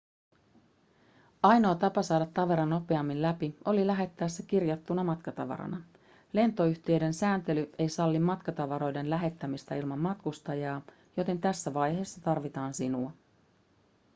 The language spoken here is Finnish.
ainoa tapa saada tavara nopeammin läpi oli lähettää se kirjattuna matkatavarana lentoyhtiöiden sääntely ei salli matkatavaroiden lähettämistä ilman matkustajaa joten tässä vaiheessa tarvitaan sinua